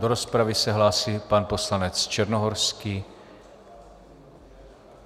Do rozpravy se hlásí pan poslanec Černohorský.